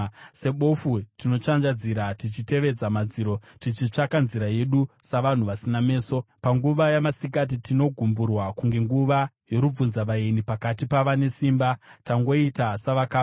Sebofu tinotsvanzvadzira tichitevedza madziro, tichitsvaka nzira yedu savanhu vasina meso. Panguva yamasikati tinogumburwa kunge nguva yorubvunzavaeni; pakati pavane simba, tangoita savakafa.